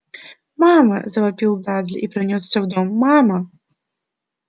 мама завопил дадли и понёсся в дом мама